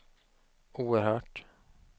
oerhört